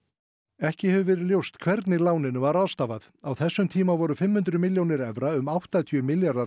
ekki hefur verið ljóst hvernig láninu var ráðstafað á þessum tíma voru fimm hundruð milljónir evra um áttatíu milljarðar